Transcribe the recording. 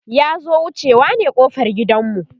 ya zo wucewa ne ƙofar gidan mu